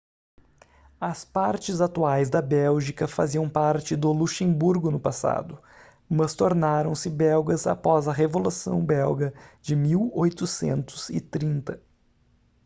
as partes atuais da bélgica faziam parte do luxemburgo no passado mas tornaram-se belgas após a revolução belga de 1830